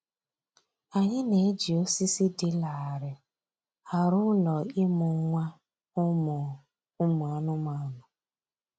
Anyị na-eji osisi dị larịị arụ ụlọ ịmụ nwa ụmụ ụmụ anụmanụ